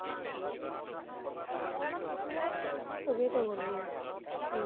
চবেই তো গ'ল গে, নিজৰ